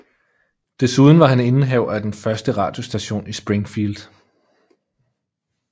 Desuden var han indehaver af den første radiostation i Springfield